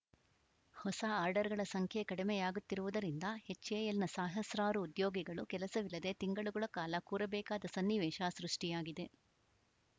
ಹೊಸ ಆರ್ಡರ್‌ಗಳ ಸಂಖ್ಯೆ ಕಡಿಮೆಯಾಗುತ್ತಿರುವುದರಿಂದ ಎಚ್‌ಎಎಲ್‌ನ ಸಹಸ್ರಾರು ಉದ್ಯೋಗಿಗಳು ಕೆಲಸವಿಲ್ಲದೇ ತಿಂಗಳುಗಳ ಕಾಲ ಕೂರಬೇಕಾದ ಸನ್ನಿವೇಶ ಸೃಷ್ಟಿಯಾಗಿದೆ